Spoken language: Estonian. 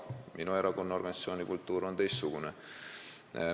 Minu erakonna organisatsioonikultuur on teistsugune.